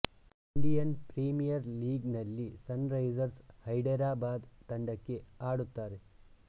Indian premier league ನಲ್ಲಿ sunrisers Hyderabad ತಂಡಕ್ಕೆ ಆಡುತ್ತಾರೆ